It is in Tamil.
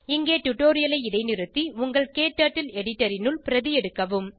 இங்கே டுடோரியலை இடைநிறுத்தி உங்கள் க்டர்ட்டில் எடிட்டர் னுள் பிரதி எடுக்கவும்